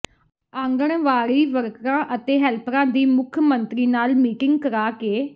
ਆਂਗਣਵਾੜੀ ਵਰਕਰਾਂ ਅਤੇ ਹੈਲਪਰਾਂ ਦੀ ਮੁੱਖ ਮੰਤਰੀ ਨਾਲ ਮੀਟਿੰਗ ਕਰਾ ਕੇ